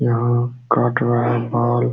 यहाँ काट रहा है बाल --